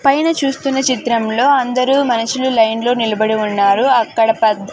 పైన చూస్తున్న చిత్రంలో అందరూ మనుషులు లైన్లో నిలబడి ఉన్నారు అక్కడ పద్--